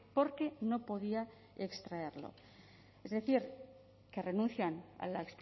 porque no podía extraerlo es decir que renuncian a la